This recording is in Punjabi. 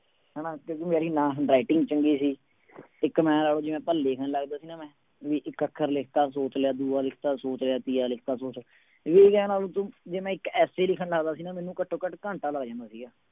ਹਨਾ ਕਿਉਂਕਿ ਮੇਰੀ ਨਾ handwriting ਚੰਗੀ ਸੀ ਇੱਕ ਮੈਂ ਉਹ ਲਿਖਣ ਲੱਗਦਾ ਸੀ ਨਾ ਮੈਂ ਵੀ ਇੱਕ ਅੱਖਰ ਲਿਖ ਦਿੱਤਾ ਸੋਚ ਲਿਆ, ਦੂਆ ਲਿਖ ਦਿੱਤਾ ਸੋਚ ਲਿਆ, ਤੀਆ ਲਿਖਤਾ ਸੋਚ ਵੀ ਮੈਂ ਇੱਕ essay ਲਿਖਣ ਲੱਗਦਾ ਸੀ ਨਾ ਮੈਨੂੰ ਘੱਟੋ ਘੱਟ ਘੰਟਾ ਲੱਗ ਜਾਂਦਾ ਸੀਗਾ।